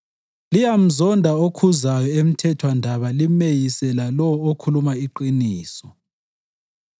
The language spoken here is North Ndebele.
Liyamzonda okhuzayo emthethwandaba limeyise lalowo okhuluma iqiniso.